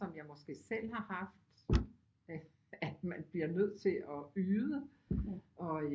Som jeg måske selv har haft hvad at man bliver nødt til at yde